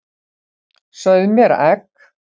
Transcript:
Sauð mér egg.